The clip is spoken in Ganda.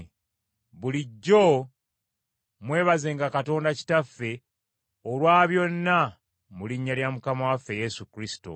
Bulijjo mwebazenga Katonda Kitaffe olwa byonna, mu linnya lya Mukama waffe Yesu Kristo.